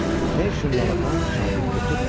Nə üçün Labakan şagird götürmür?